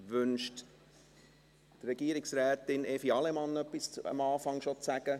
Wünscht Regierungsrätin Evi Allemann zu Beginn schon zu sprechen?